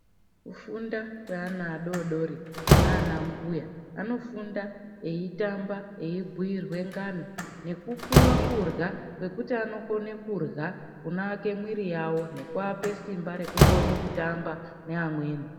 Kufunda kweana adodori nanambuya anofunda eitamba veibhuyirwa ngano nekupuwa kurya kwekuti kunowaka mwiri yawo nekupuwa simba rekuti vanokona kutamba nevamweni